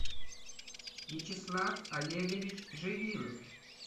вячеслав олегович живилов